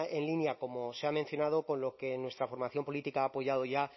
en línea como se ha mencionado con lo que nuestra formación política ha apoyado ya